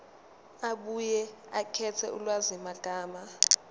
abuye akhethe ulwazimagama